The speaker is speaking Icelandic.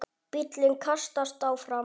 Bíllinn kastast áfram.